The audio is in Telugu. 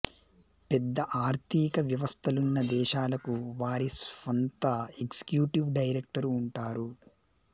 పెద్ద ఆర్థిక వ్యవస్థలున్న దేశాలకు వారి స్వంత ఎగ్జిక్యూటివ్ డైరెక్టరు ఉంటారు